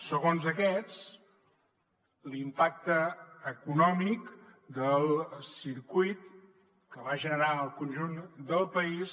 segons aquests l’impacte econòmic del circuit que va generar al conjunt del país